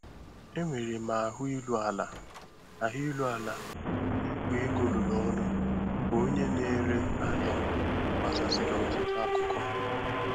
Enwere m ahụ iru ala ahụ iru ala na Igwe ego rụrụ ọrụ ka onye na-ere ahịa gbasasịrị ọtụtụ akụkọ.